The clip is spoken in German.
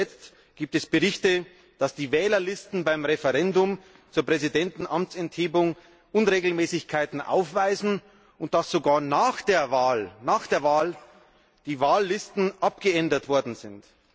Zuletzt gibt es Berichte, dass die Wählerlisten beim Referendum zur Präsidentenamtsenthebung Unregelmäßigkeiten aufweisen und dass sogar nach der Wahl die Wahllisten abgeändert worden sind.